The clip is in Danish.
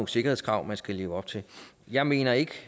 sikkerhedskrav man skal leve op til jeg mener ikke